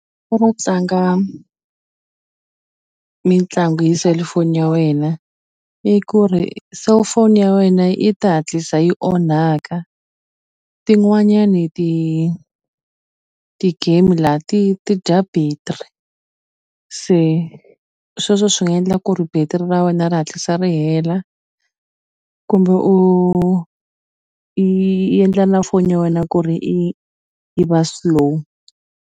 tlanga mitlangu hi selufoni ya wena i ku ri cellphone ya wena yi ta hatlisa yi onhaka tin'wanyani ti-game la ti ti dya battery se sweswo swi nga endla ku ri battery ra wena ra hatlisa ri hela kumbe u i yi endla na foni ya wena ku ri i yi va slow.